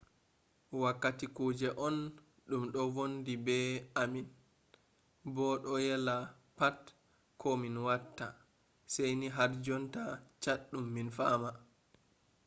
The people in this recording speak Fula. wakkati kuje on dum do wondi be ammin bo do yella pat ko min watta saini har jonta chaddum min fama